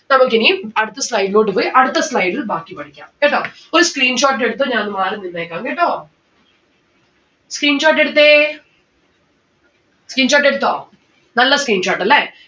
നമ്മുക്ക് ഇനി അടുത്ത slide ലോട്ട് പോയി അടുത്ത slide ൽ ബാക്കി പഠിക്കാം. കേട്ടോ? ഒരു screenshot എടുത്തോ ഞാൻ ഒന്ന് മാറി നിന്നേക്കാം കേട്ടോ? screenshot എടുത്തേ screenshot എടുത്തോ? നല്ല screenshot അല്ലെ